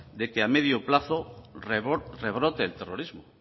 de que a medio plazo rebrote el terrorismo